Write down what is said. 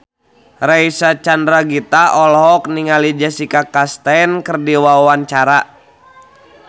Reysa Chandragitta olohok ningali Jessica Chastain keur diwawancara